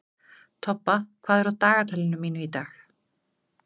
Tobba, hvað er á dagatalinu mínu í dag?